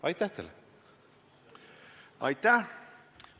Aitäh!